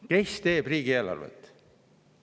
Kes teeb riigieelarvet?